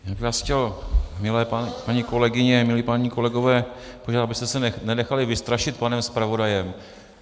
Já bych vás chtěl, milé paní kolegyně, milí páni kolegové, požádat, abyste se nenechali vystrašit panem zpravodajem.